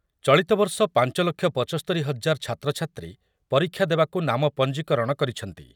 ଚଳିତବର୍ଷ ପାଞ୍ଚ ଲକ୍ଷ ପଞ୍ଚସ୍ତରୀ ହଜାର ଛାତ୍ରଛାତ୍ରୀ ପରୀକ୍ଷା ଦେବାକୁ ନାମ ପଞ୍ଜିକରଣ କରିଛନ୍ତି ।